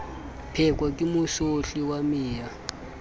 pheko ke mosotli wa meya